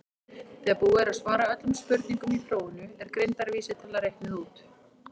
þegar búið er að svara öllum spurningum í prófinu er greindarvísitala reiknuð út